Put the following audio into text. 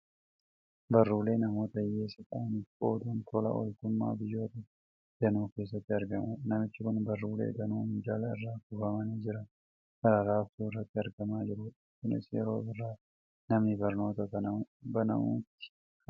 Baruulee namoota hiyyeessa ta'aniif qooduun tola ooltummaa biyyoota danuu keessatti argamudha. Namichi kun baruulee danuu minjaala irra kuufamanii jiran kan raabsuu irratti argamaa jirudha. Kunis yeroo birraa manni barnootaa banamutti kan raawwatudha.